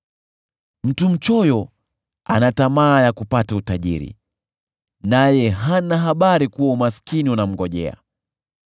Mtu mchoyo ana tamaa ya kupata utajiri, naye hana habari kuwa umaskini unamngojea.